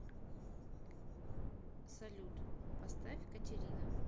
салют поставь катерина